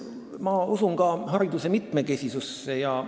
Ma usun ka hariduse mitmekesisusse.